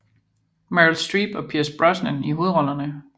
Meryl Streep og Pierce Brosnan i hovedrollerne